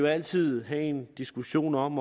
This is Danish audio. altid tage en diskussion om